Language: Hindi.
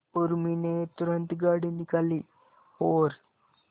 उर्मी ने तुरंत गाड़ी निकाली और